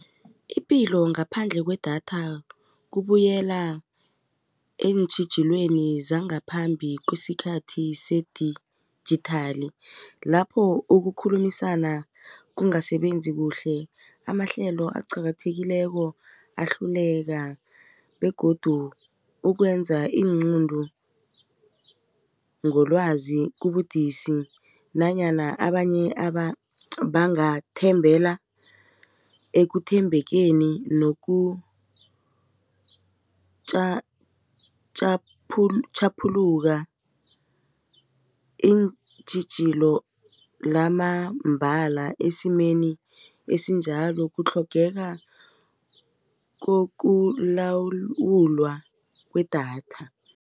Ipilo ngaphandle kwedatha kubuyela eentjhijilweni zangaphambi kwesikhathi sedijithali lapho ukukhulumisana kungasasebenzi kuhle amahlelo aqakathekileko ahluleka begodu ukwenza iinqunto ngolwazi kubudisi nanyana abanye bangathembela ekuthembekeni nokutjhaphuluka iintjhijilo lamambala esimeni esinjalo kutlhogeka kokulawulwa kwedatha.